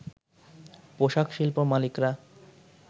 পোশাকশিল্প মালিকরা